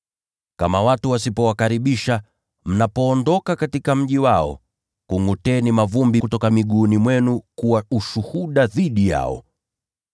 Kama watu wasipowakaribisha, mnapoondoka katika mji wao, kungʼuteni mavumbi kutoka kwenye miguu yenu ili kuwa ushuhuda dhidi yao.”